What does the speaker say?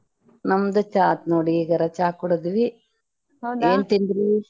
ನಮ್ದು ಚಾ ಆತ್ ನೋಡಿ ಇಗರಾ ಚಾ ಕುಡಿದ್ವಿ ಏನ ತಿಂದ್ರಿ?